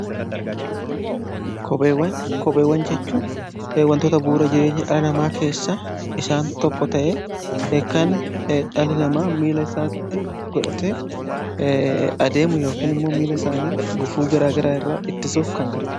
Kopheewwan jechuun wantoota bu'uura jireenya dhala namaa keessa isaan tokko ta'ee kan dhalli namaa miila isaatti godhate adeemu yookiin immoo miila isaanii gufuu garaagaraa irraa ittisuuf kan gargaruudha.